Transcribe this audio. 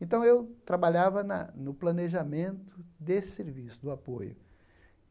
Então eu trabalhava na no planejamento desse serviço, do apoio.